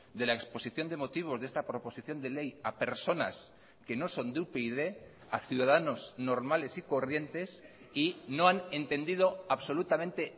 de la exposición de motivos de esta proposición de ley a personas que no son de upyd a ciudadanos normales y corrientes y no han entendido absolutamente